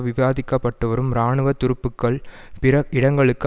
விவாதிக்கப்பட்டுவரும் இராணுவ துருப்புக்கள் பிற இடங்களுக்கு